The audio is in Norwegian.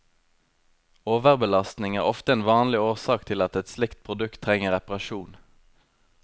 Overbelastning er ofte en vanlig årsak til at et slikt produkt trenger reparasjon.